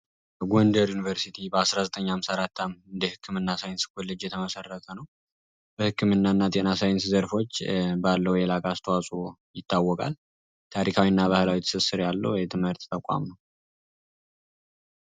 የጎንደር ዩኒቨርሲቲ በ 1954 ዓ.ም የጤና ኮሌጅ ሁኔታ የተመሰረተ ነው በክምናና ጤና ሣይንስ ዘርፎች ባለው አስተዋጽኦ ይታወቃል። ታሪካዊና ባህላዊ ትስስር ያለው ተቋም ነው።